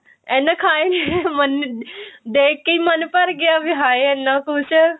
ਇੰਨਾ ਖਾਏ ਮਨ ਦੇਖ ਕੇ ਹੀ ਮਨ ਭਰ ਗਿਆ ਵੀ ਹਾਏ ਇੰਨਾ ਕੁਝ